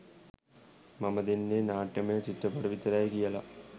මම දෙන්නෙ නාට්‍යමය චිත්‍රපට විතරයි කියලා.